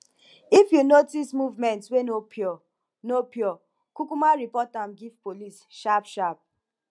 if you notice movement wey no pure no pure kukuma report am give police sharp sharp